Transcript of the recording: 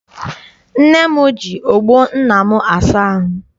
Nne m ji ọgbọ nna m asa ahụ.